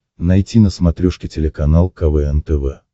найти на смотрешке телеканал квн тв